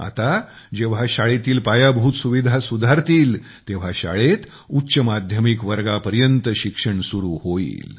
आता जेव्हा शाळेतील पायाभूत सुविधा सुधारतील तेव्हा शाळेत उच्च माध्यमिक वर्गापर्यंत शिक्षण सुरू होईल